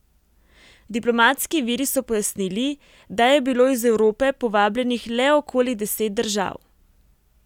Diplomatski viri so pojasnili, da je bilo iz Evrope povabljenih le okoli deset držav.